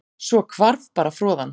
Svo hvarf bara froðan